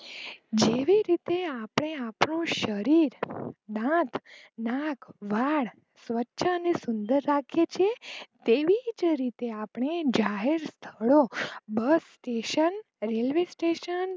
જેવી રીતે આપણે આપણું શરીર નાક વાળ સ્વચ અને સુંદર રાખીયે છીએ તેવીજ રીતે આપણે આપણા શહેર સ્થળો બસ સ્ટેશન રેલવે સ્ટેશન